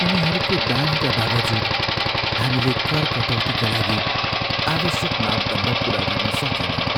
उनीहरूको दानका बावजुद, हामीले कर कटौतीका लागि आवश्यक मापदण्ड पुरा गर्न सकेनौँ।